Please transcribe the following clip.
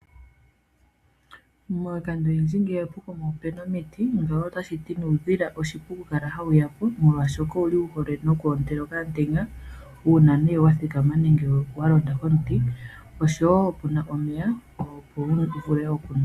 Miikando oyindji ngele pokuma opuna omiti, ngawo otashiti nuudhila oshipu okukala hawu yapo, molwaashoka owuhole oku ontela okamutenya, uuna nee wathikama nenge walonda komiti, oshowo puna omeya, opo wuvule okunwa.